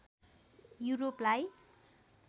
यूरोपलाई